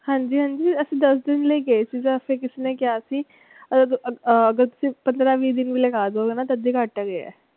ਹਾਂਜੀ ਹਾਂਜੀ ਅਸੀ ਦੱਸ ਦਿਨ ਲਈ ਗਏ ਸੀ ਜਾ ਓਥੇ ਕਿਸੇ ਨੇ ਕਿਹਾ ਸੀ ਆਹ ਪੰਦਰਾਂ ਵੀਹ ਦਿਨ ਲਈ ਆ ਜੋਗੇ ਨੇ ਤੱਦ ਵੀ ਘੱਟ ਹੈਗੇ ਆ।